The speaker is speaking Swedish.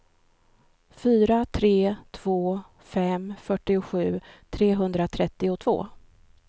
fyra tre två fem fyrtiosju trehundratrettiotvå